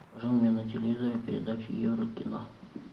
покажи мне на телевизоре передачу еврокино